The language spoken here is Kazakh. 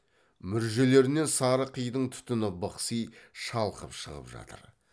мүржелерінен сары қидың түтіні бықси шалқып шығып жатыр